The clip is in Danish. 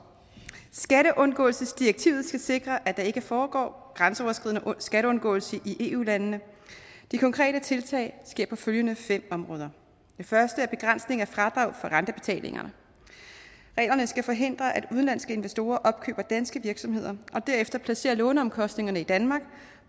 skatteundgåelsesdirektivet skal sikre at der ikke foregår grænseoverskridende skatteundgåelse i eu landene de konkrete tiltag sker på følgende fem områder det første er begrænsning af fradrag for rentebetalingerne reglerne skal forhindre at udenlandske investorer opkøber danske virksomheder og derefter placerer låneomkostningerne i danmark